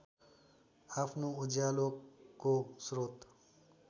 आफ्नो उज्यालोको स्रोत